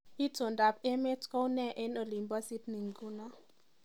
Itondoab emet kounee eng olin bo Syney nguno